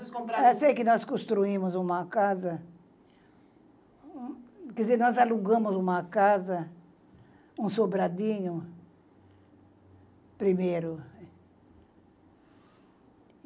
Vocês compraram. Eu sei que nós construímos uma casa, quer dizer, nós alugamos uma casa, um sobradinho, primeiro.